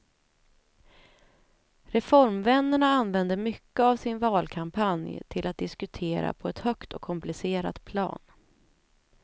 Reformvännerna använde mycket av sin valkampanj till att diskutera på ett högt och komplicerat plan.